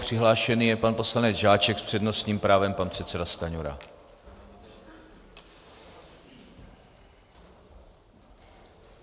Přihlášený je pan poslanec Žáček, s přednostním právem pan předseda Stanjura.